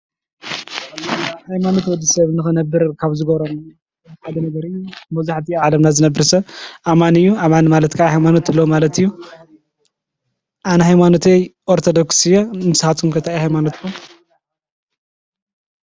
ሃይማኖት ወድሰብ ንክነብር ካብ ዝገብሮ ሓደ ነገር እዩ። መብዛሕትኡ አብ ዓለምና ዝነብር ሰብ አማኒ እዩ ። አማኒ ማለት ከዓ ሃይማኖት እለዎ ማለት እዩ። አነ ሃይማኖተይ ኦርቶዶክስ እየ ንስካትኩም ከ እንታይ እዩ ሃይማኖትኩም?